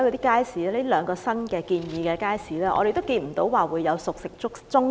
例如，這兩個新建議的街市，我們看不到會設置熟食中心。